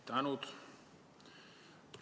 Tänud!